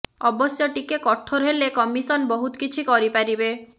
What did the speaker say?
ଅବଶ୍ୟ ଟିକେ କଠୋର ହେଲେ କମିଶନ୍ ବହୁତ କିଛି କରି ପାରିବେ